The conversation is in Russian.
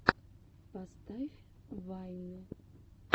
поставь вайны